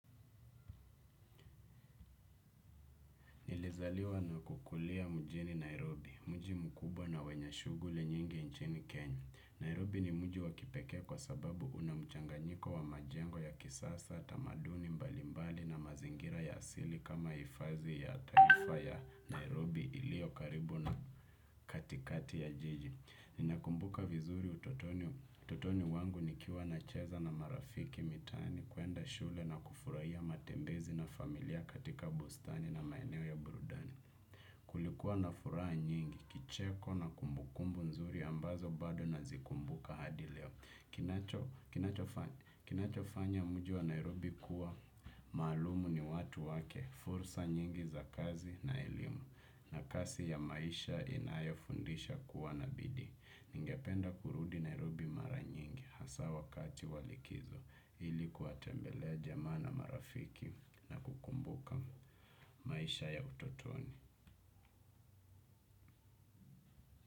Nilizaliwa na kukulia mjini Nairobi, mji mkubwa na wenye shughuli nyingi nchini Kenya. Nairobi ni mji wa kipekee kwa sababu una mchanganyiko wa majengo ya kisasa, tamaduni mbalimbali na mazingira ya asili kama hifadhi ya taifa ya Nairobi iliyo karibu na katikati ya jiji. Ninakumbuka vizuri utotoni wangu nikiwa nacheza na marafiki mitaani kuenda shule na kufuraia matembezi na familia katika bustani na maeneo ya burudani. Kulikuwa na furaha nyingi, kicheko na kumbukumbu nzuri ambazo bado nazikumbuka hadi leo. Kinachofanya mji wa Nairobi kuwa, maalumu ni watu wake, fursa nyingi za kazi na elimu, na kasi ya maisha inayofundisha kuwa na bidii. Ningependa kurudi Nairobi mara nyingi hasa wakati wa likizo ili kuwatembelea jamaa na marafiki na kukumbuka maisha ya utotoni.